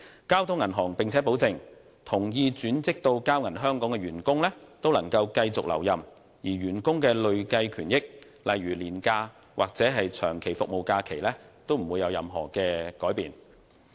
交通銀行並且保證，同意轉職至交銀香港的員工均可繼續留任，而員工的累計權益，例如年假或長期服務假期，均不會有任何改變。